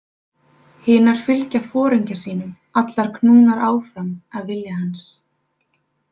Hinar fylgja foringja sínum allar knúnar áfram af vilja hans.